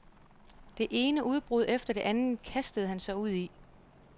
Det ene udbrud efter det andet kastede han sig ud i.